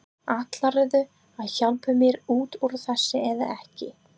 Ætlarðu að hjálpa mér út úr þessu eða ekki?